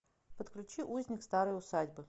подключи узник старой усадьбы